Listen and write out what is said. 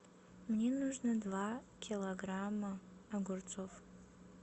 мне нужно два килограмма огурцов